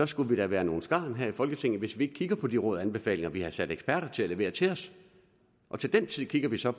skulle vi da være nogle skarn her i folketinget hvis ikke vi kigger på de råd og anbefalinger som vi har sat eksperter til at levere til os til den tid kigger vi så